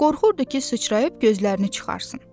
Qorxurdu ki, sıçrayıb gözlərini çıxarsın.